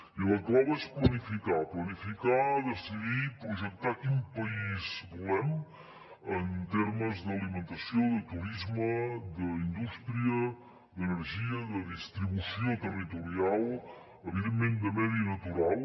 i la clau és planificar planificar decidir i projectar quin país volem en termes d’alimentació de turisme d’indústria d’energia de distribució territorial evidentment de medi natural